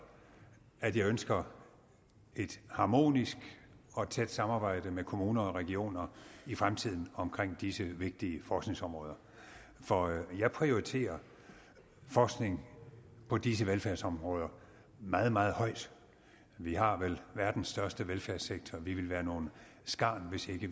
at jeg ønsker et harmonisk og et tæt samarbejde med kommuner og regioner i fremtiden om disse vigtige forskningsområder for jeg prioriterer forskning på disse velfærdsområder meget meget højt vi har vel verdens største velfærdssektor og vi ville være nogle skarn hvis vi